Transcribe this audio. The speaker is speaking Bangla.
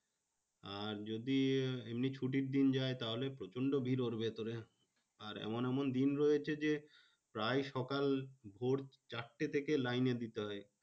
আর যদি এমনি ছুটির দিন যায় তাহলে প্রচন্ড ভিড় ওর ভেতরে। আর এমন এমন দিন রয়েছে যে, প্রায় সকাল ভোর চারটে থেকে লাইনে দিতে হয়।